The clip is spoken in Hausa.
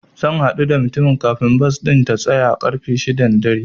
Zan haɗu da mutumin kafin bas ɗin ta tsaya ƙarfe shida na dare.